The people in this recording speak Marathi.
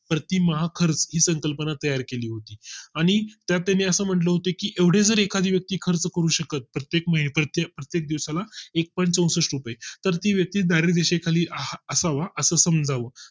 प्रतिमाह खर्च ही संकल्पना तयार केली आणि त्याच्या म्हटले होते की एवढे जर एखादी व्यक्ती खर्च करू शकत प्रत्येक माहिती प्रत्येक दिवसा ला एक point चौसष्ट रुपये तर ती व्यक्ती धाड दिशी खाली असावा असं समजावं